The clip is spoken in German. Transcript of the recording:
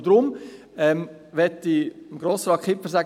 Deshalb möchte ich Grossrat Kipfer sagen.